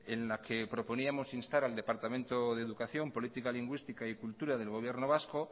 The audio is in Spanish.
en la que proponíamos instar al departamento de educación política lingüística y cultura del gobierno vasco